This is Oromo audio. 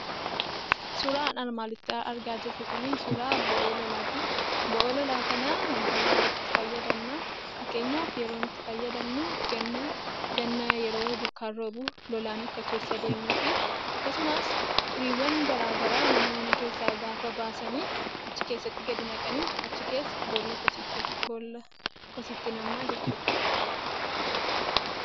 Suuraan armaan olitti argaa jirru kun, suuraa boo'oo lolaati. Boo'oo lolaa kana wanta baay'eef itti fayyadamna. Fakkeenyaf, yeroo nuyi itti fayyadamnu ganna ganna yeroo bokkaan roobu lolaan akka keessa deemuu fi akkasumas, xuriiwwaan garaagaraa mana mana keessa gaafa baasan achii keessatti gadi naqanii, achii keessa boolla kosiitti naqamaa jechuudha.